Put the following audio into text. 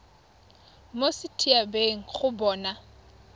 mo set habeng go bona